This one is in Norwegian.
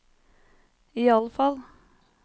iallfall